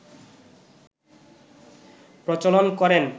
প্রচলন করেন